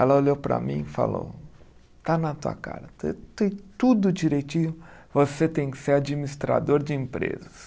Ela olhou para mim e falou, está na tua cara, tu tem tudo direitinho, você tem que ser administrador de empresas.